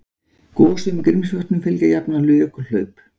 Gosum í Grímsvötnum fylgja jafnan jökulhlaup